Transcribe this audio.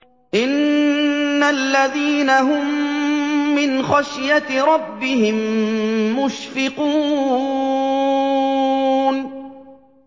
إِنَّ الَّذِينَ هُم مِّنْ خَشْيَةِ رَبِّهِم مُّشْفِقُونَ